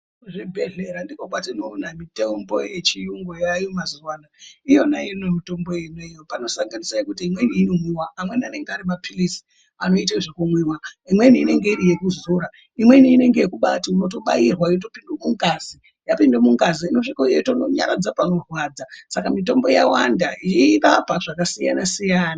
Kuzvibhedhlera ndokwatinoona mitombo yechiyungu yaayo mazuwa ano. Iyona iyoyi mitombo iyoyo panosanganisa imweni yekuti inomwiwa. Amweni anenge ari maphirizi anoite zvekumwiwa. Imweni inenge iri yekuzora. Imweni inenge iri yekubaatobairwa yopinde mungazi, yapinda mungazi inosviko yeitononyaradza panorwadza. Saka mitombo yawanda yeirapa zvakasiyana siyana.